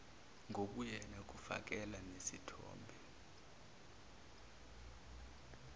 ngobuyena kufakelwa nesithombe